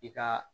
I ka